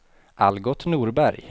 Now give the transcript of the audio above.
Algot Norberg